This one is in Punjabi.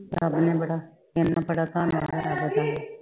ਧਨ ਹੀ ਬੜਾ ਕਹਿੰਦਾ ਬੜਾ ਧਨ ਆ